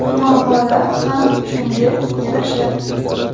Muammolar xam shunga yarasha.